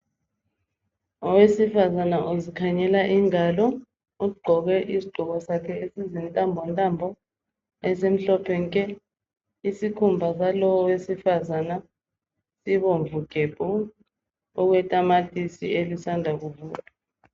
Owesifazana uzikhangela ingalo ugqoke isigqoko sakhe esizintambo ntambo esimhlophe nke. Isikhumba salo owesifazana sibomvu gebhu okwetamatisi elisanda kuvuthwa.